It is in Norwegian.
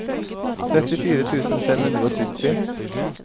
trettifire tusen fem hundre og sytti